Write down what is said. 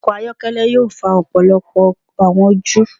Ọkọ ayọkẹlẹ yoo fa ọpọlọpọ awọn oju